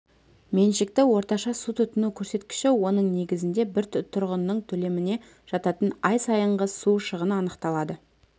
меншікті орташа су тұтыну көрсеткіші оның негізінде бір тұрғынның төлеміне жататын ай сайынғы су шығыны анықталады